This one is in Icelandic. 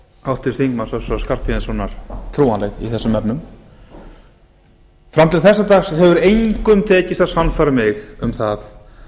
háttvirts þingmanns össurar skarphéðinssonar trúanleg í þessum efnum fram til þessa dags hefur engum tekist að sannfæra mig um það